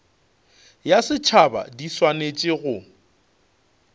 ya setšhaba di swanetše go